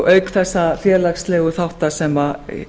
auk þessa félagslegu þátta sem